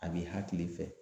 A b'i hakili fɛ